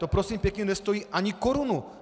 To prosím pěkně nestojí ani korunu.